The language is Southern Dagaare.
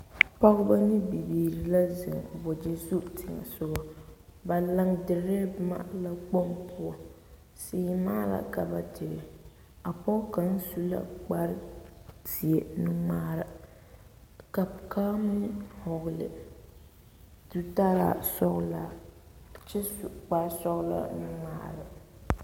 Pɔgebɔ ne bibiiri la zeŋ wagyɛ zu teŋɛsogɔ ba laŋ diree boma laakpoŋ poɔ, seemaa la ka ba dire, a pɔge kaŋa su la kpare zeɛ nu-ŋmaara ka kaŋa meŋ hɔgele zutaraa sɔgelaa kyɛ zu kpare sɔgelaa nu-ŋmaara.